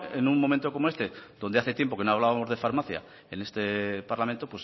en un momento como este donde hace tiempo que no hablábamos de farmacia en este parlamento